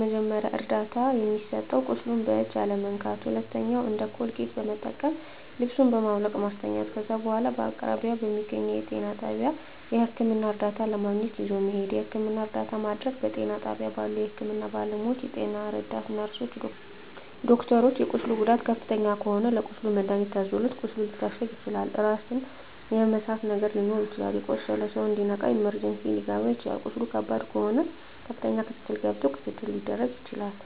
መጀመሪያ ደረጃ እርዳታ የሚሰጠዉ ቁስሉን በእጅ አለመንካት ሁለተኛዉ እንደ ኮልጌት መጠቀም ልብሱን በማዉለቅ ማስተኛት ከዛ በኋላ በአቅራቢያዎ በሚገኘዉ ጤና ጣቢያ ህክምና እርዳታ ለማግኘት ይዞ መሄድ የህክምና እርዳታ ማድረግ በጤና ጣቢያ ባሉ የህክምና ባለሞያዎች ጤና ረዳት ነርስሮች ዶክተሮች የቁስሉ ጉዳት ከፍተኛ ከሆነ ለቁስሉ መድሀኒት ታዞለት ቁስሉ ሊታሸግ ይችላል ራስን የመሳት ነገር ሊኖር ይችላል የቆሰለዉ ሰዉ እንዲነቃ ኢመርጀንሲ ሊከባ ይችላል ቁስሉ ከባድ ከሆነ ከፍተኛ ክትትል ገብቶ ክትትል ሊደረግ ይችላል